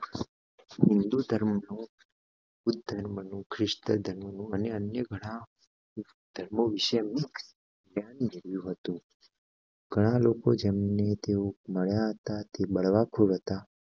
હિન્દુ ધર્મ નું બુધ ધર્મનું ખ્રિસ્ત ધર્મ નું અને અન્ય ઘણા ધર્મો વિષય હતું ઘણા લોકો જેમને તેઓ મળ્યા તે હતા